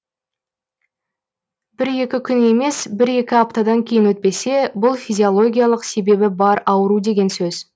бір екі күн емес бір екі аптадан кейін өтпесе бұл физилогиялық себебі бар ауру деген сөз